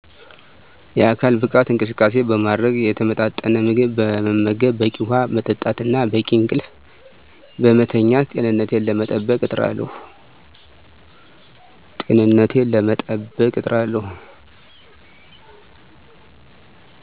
የአካል ብቃት እንቅስቃሴ በማድረግ፣ የተመጣጠነ ምግብ መመገብ፣ በቂ ውሃ መጠጣት እና በቂ እንቅልፍ ለማተኛት ጤንነቴን ለመጠበቅ እጥራለሁ